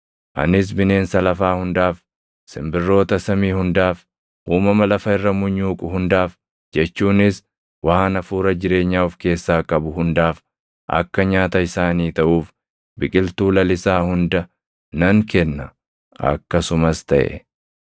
Anis bineensa lafaa hundaaf, simbirroota samii hundaaf, uumama lafa irra munyuuqu hundaaf jechuunis waan hafuura jireenyaa of keessaa qabu hundaaf akka nyaata isaanii taʼuuf biqiltuu lalisaa hunda nan kenna.” Akkasumas taʼe.